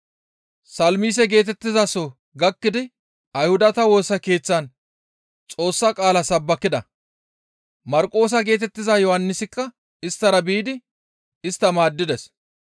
Salmise geetettizaso gakkidi Ayhudata Woosa Keeththatan Xoossa qaala sabbakida; Marqoosa geetettiza Yohannisikka isttara biidi istta maaddides.